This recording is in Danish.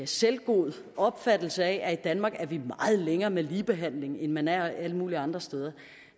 selvgod opfattelse af at i danmark er vi meget længere med ligebehandling end man er alle mulige andre steder